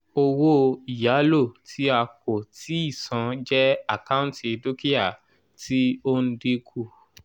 owó ìyálò ti a kò tíì san jẹ́ àkáǹtì dúkìá tí ó ń dínkù.